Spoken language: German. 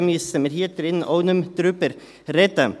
Daher müssen wir hier auch nicht mehr darüber sprechen.